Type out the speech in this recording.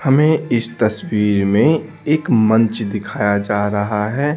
हमें इस तस्वीर में एक मंच दिखाया जा रहा है।